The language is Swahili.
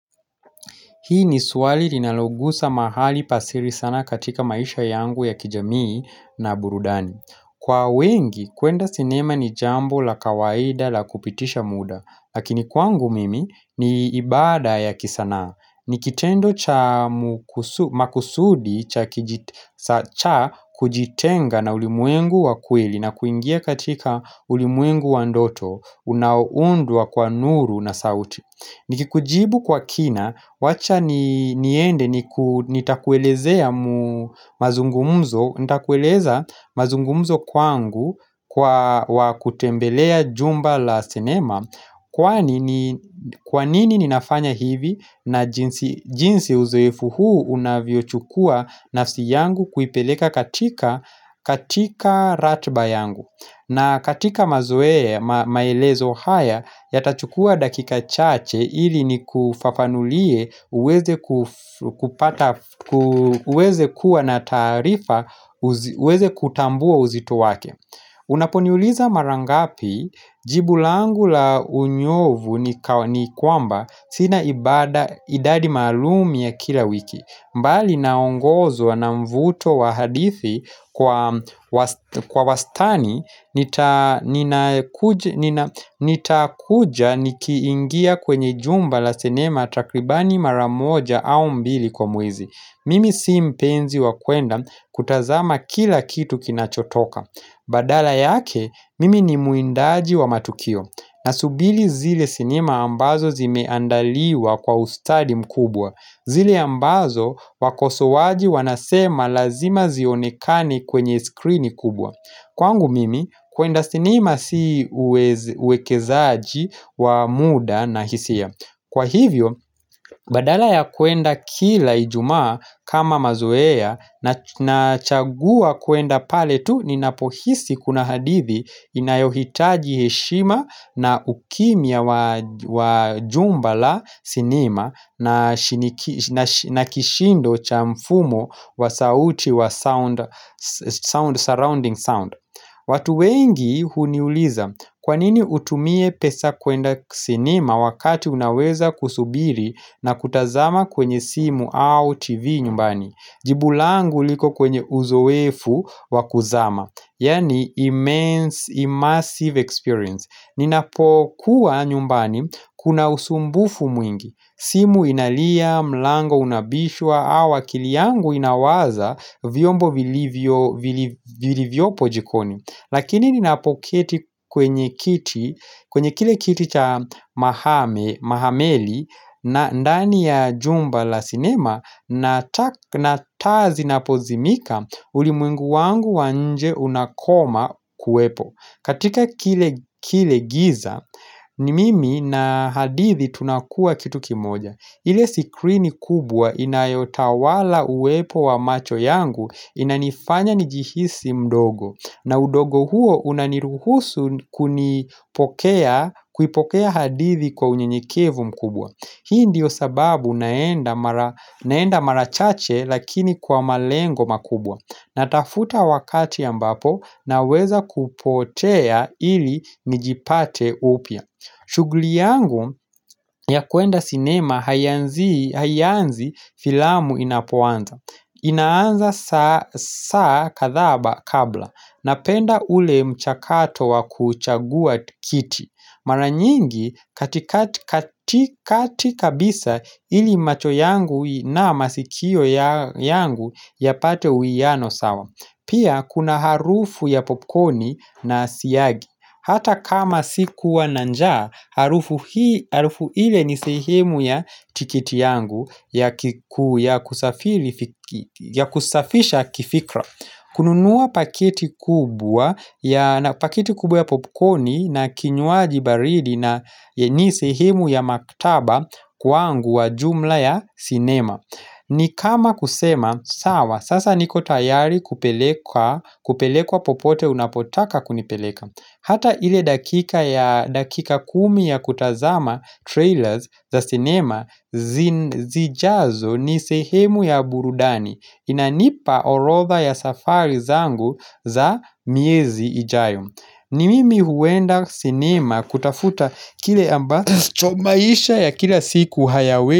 Hii ni swali linalogusa mahali pa siri sana katika maisha yangu ya kijamii na burudani. Kwa wengi, kuenda sinema ni jambo la kawaida la kupitisha muda. Lakini kwangu mimi, ni ibada ya kisanaa. Ni kitendo cha makusudi cha kujitenga na ulimwengu wa kweli na kuingia katika ulimwengu wa ndoto unao undwa kwa nuru na sauti. Niki kujibu kwa kina, wacha niende nitakuelezea mazungumzo, nitakueleza mazungumzo kwangu kwa kutembelea jumba la sinema Kwa nini ninafanya hivi na jinsi uzoefu huu unavyo chukua nafsi yangu kuipeleka katika ratba yangu na katika mazoea maelezo haya yatachukua dakika chache ili nikufafanulie uweze kuwa na taarifa uweze kutambua uzito wake Unaponiuliza mara ngapi jibu langu la unyovu ni kwamba sina idadi maalum ya kila wiki bali naongozwa na mvuto wa hadithi kwa wastani, nitakuja nikiingia kwenye jumba la sinema takribani mara moja au mbili kwa mwezi. Mimi si mpenzi wa kwenda kutazama kila kitu kinachotoka. Badala yake, mimi ni muindaji wa matukio. Na subiri zile sinema ambazo zimeandaliwa kwa ustadi mkubwa. Zile ambazo wakosoaji wanasema lazima zionekani kwenye skrini kubwa. Kwangu mimi kuenda sinima si uwekezaji wa muda na hisia Kwa hivyo badala ya kuenda kila ijumaa kama mazoea na chagua kuenda pale tu ninapohisi kuna hadithi inayohitaji heshima na ukimya wa jumba la sinima na kishindo cha mfumo wa sauti wa surrounding sound watu wengi huniuliza kwa nini utumie pesa kwenda sinima wakati unaweza kusubiri na kutazama kwenye simu au tv nyumbani Jibu langu liko kwenye uzoefu wa kuzama Yani immersive experience. Ninapokuwa nyumbani kuna usumbufu mwingi. Simu inalia, mlango unabishwa, au kili yangu inawaza vyombo vilivyo jikoni. Lakini ninapoketi kwenye kile kiti cha mahameli na ndani ya jumba la sinema na taa zinapozimika ulimwengu wangu wa nje unakoma kuwepo. Katika kile giza ni mimi na hadithi tunakua kitu kimoja ile sikrini kubwa inayotawala uwepo wa macho yangu inanifanya nijihisi mdogo na udogo huo unaniruhusu kuipokea hadithi kwa unyenyekevu mkubwa Hii ndiyo sababu naenda mara chache lakini kwa malengo makubwa. Natafuta wakati ambapo naweza kupotea ili njipate upia shuguli yangu ya kuenda sinema haianzi filamu inapuanza inaanza saa kathaa kabla Napenda ule mchakato wa kuchagua kiti. Maranyingi katikati kabisa ili macho yangu na masikio yangu yapate uiano sawa. Pia kuna harufu ya popcorni na syagi Hata kama sikuwa na njaa harufu ile ni sehemu ya tikiti yangu ya kusafisha kifikra kununua pakiti kubwa ya popcorni na kinywaji baridi ni sehemu ya maktaba kwangu wa jumla ya sinema. Ni kama kusema, sawa, sasa niko tayari kupelekwa popote unapotaka kunipeleka. Hata ile dakika kumi ya kutazama trailers za sinema zijazo ni sehemu ya burudani. Inanipa orotha ya safari zangu za miezi ijayo ni mimi huenda sinema kutafuta kile ambacho maisha ya kila siku hayawe.